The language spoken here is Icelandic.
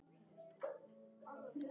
Hrannar Freyr Arason.